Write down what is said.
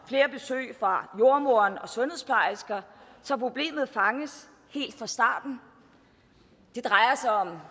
flere besøg fra jordemoderen og sundhedsplejersker så problemet fanges helt fra starten det drejer sig om